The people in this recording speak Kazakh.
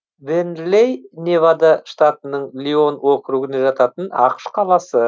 вернлэй невада штатының лион округіне жататын ақш қаласы